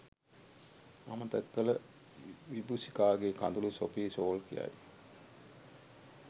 අමතක කළ විබූෂිකාගේ කඳුළු සොෆී ෂෝල් කියයි.